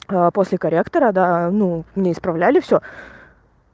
после корректора да ну на исправляли всё